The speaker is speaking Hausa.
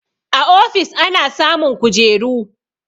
A ofis ana samun kujeru